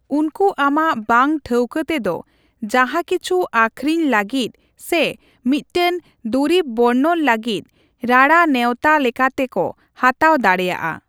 ᱩᱱᱠᱩ ᱟᱢᱟᱜ ᱵᱟᱝ ᱴᱷᱟᱹᱣᱠᱟᱹ ᱛᱮᱫ ᱡᱟᱦᱟᱸ ᱠᱤᱪᱷᱩ ᱟᱹᱠᱷᱤᱨᱤᱧ ᱞᱟᱹᱜᱤᱫ ᱥᱮ ᱢᱤᱫᱴᱟᱝ ᱫᱚᱨᱤᱵᱽ ᱵᱚᱨᱱᱚᱱ ᱞᱟᱹᱜᱤᱫ ᱨᱟᱲᱟ ᱱᱮᱣᱛᱟ ᱞᱮᱠᱟᱛᱮ ᱠᱚ ᱦᱟᱛᱟᱣ ᱫᱟᱲᱮᱭᱟᱜᱼᱟ ᱾